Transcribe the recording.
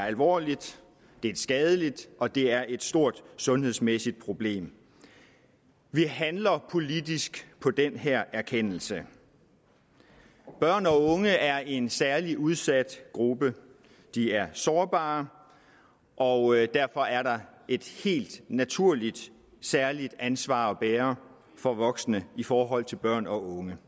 alvorligt det er skadeligt og det er et stort sundhedsmæssigt problem vi handler politisk på den her erkendelse børn og unge er en særlig udsat gruppe de er sårbare og derfor er der helt naturligt et særligt ansvar at bære for voksne i forhold til børn og unge